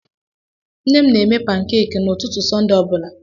Nne m na-eme pankeeki n'ụtụtụ Sọnde ọ bụla.